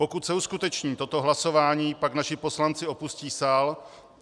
Pokud se uskuteční toto hlasování, pak naši poslanci opustí sál.